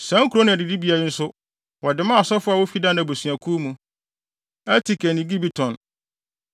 Saa nkurow ne adidibea yi nso, wɔde maa asɔfo a wofi Dan abusuakuw mu: Elteke ne Gibeton,